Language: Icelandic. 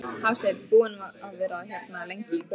Hafsteinn: Búinn að vera hérna lengi í kvöld?